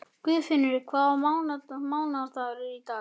Guðfinnur, hvaða mánaðardagur er í dag?